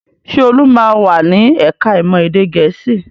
Ṣé Olu máa wà ní ẹ̀ka-ìmọ̀ èdè Gẹ̀ẹ́sì?